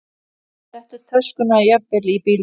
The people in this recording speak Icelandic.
Settu töskuna jafnvel í bílinn.